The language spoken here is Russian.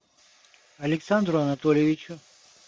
александру анатольевичу